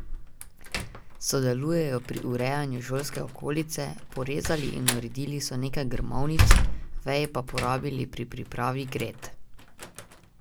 Sodelujejo pri urejanju šolske okolice, porezali in uredili so nekaj grmovnic, veje pa porabili pri pripravi gred.